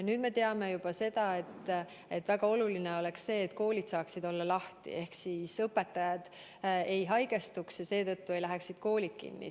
Nüüd me teame, et väga oluline oleks see, et koolid saaksid olla lahti ehk õpetajad ei haigestuks ja koolid ei läheks seetõttu kinni.